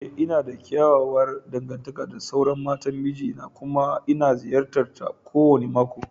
Ee, ina da kyakkyawar dangantaka da sauran matan miji na kuma ina ziyartar ta kowane mako